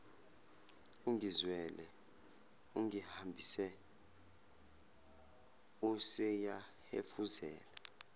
ungizwele ungihambise useyahefuzela